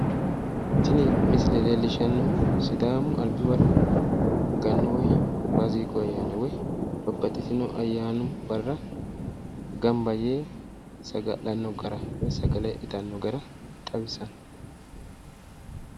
Tini misile leellishshannohu sidaamu albi waro gannu woy faasigu ayyaanna woy babbaxxitino ayyaani barra gamba yee saga'lanno gara woy sagale itanno gara xawissanno.